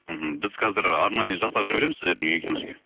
мхм біз қазір арнайы жасақ жібереміз сіздердің үйіңізге